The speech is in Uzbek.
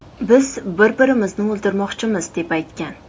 Biz bir-birimizni o‘ldirmoqchimiz”, deb aytgan.